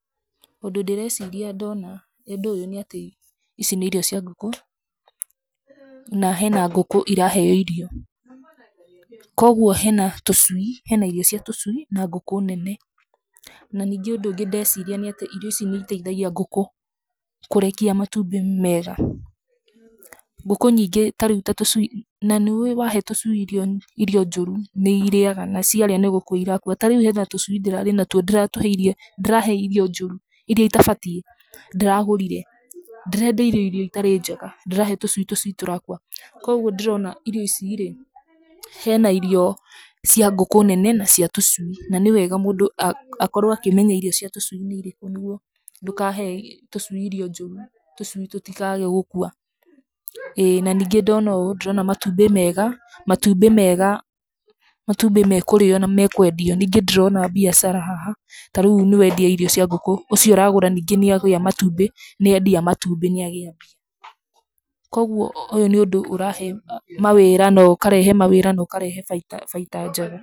Ũndũ ndĩreciria ndona ũndũ ũyũ nĩ atĩ, ici nĩ irio cia ngũkũ, na hena ngũkũ iraheyo irio. Koguo hena tũcui, hena irio cia tũcui na ngũkũ nene. Na ningĩ ũndũ ũngĩ ndĩreciria nĩ atĩ irio ici ni itheithagia ngũkũ kũrekia matumbĩ mega. Ngũkũ nyingĩ ta rĩu ta tũcui, na nĩ ũwĩ wa he tũcui irio irio njũru nĩ irĩaga na ciarĩa nĩ gũkua irakua. Ta rĩu hena tũcui ndĩrarĩ natuo ndĩratũhe irio, ndĩrahe irio njũru, iria itabatiĩ ndĩragũrire. Ndĩrendeirio irio itarĩ njega, ndĩrahe tũcui, tũcui tũrakua. Koguo ndĩrona irio ici rĩ, hena irio cia ngũkũ nene na cia tũcui, na nĩ wega mũndũ akorwo akĩmenya irio cia tũcui ni irĩkũ, nĩguo ndũkahe tũcui irio njũru, tũcui tũtikage gũkua, ĩĩ. Na ningĩ ndona ũũ, ndĩrona matumbĩ mega, matumbĩ mega, matumbĩ mekũrĩo na mekũendio. Ningĩ ndĩrona mbiacara haha, ta rĩu nĩ wendia irio cia ngũkũ, ũcio ũragũra ningĩ nĩ agĩa matumbĩ, nĩ endia matumbĩ nĩ agĩa mbia. Koguo ũyũ nĩ ũndũ ũrahe mawĩra na ũkarehe mawĩra na ũkarehe baita, baita njega.